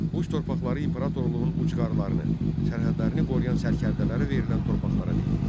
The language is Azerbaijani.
Uc torpaqları imperatorluğun ucqarlarını, sərhədlərini qoruyan sərkərdələrə verilən torpaqlara deyilirdi.